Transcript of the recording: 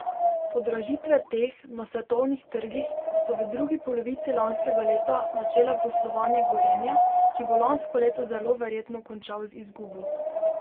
Podražitve teh na svetovnih trgih so v drugi polovici lanskega leta načele poslovanje Gorenja, ki bo lansko leto zelo verjetno končal z izgubo.